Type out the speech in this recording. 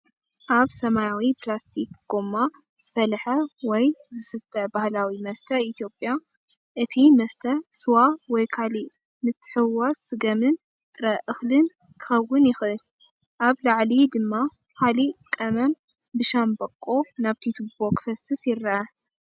ኣብ ሰማያዊ ፕላስቲክ ጎማ ዝፈልሐ ወይ ዝስተ ባህላዊ መስተ ኢትዮጵያ፣ እቲ መስተ ስዋ ወይ ካልእ ምትሕውዋስ ስገምን ጥረ እኽልን ክኸውን ይኽእል። ኣብ ላዕሊ ድማ ካልእ ቀመም ብሻምብቆ ናብቲ ቱቦ ክፈስስ ይረአ።